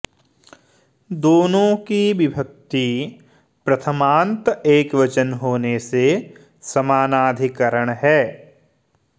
दोनों की विभक्ति प्रथमान्त एकवचन होने से समानाधिकरण है